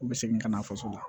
U bɛ segin ka na faso la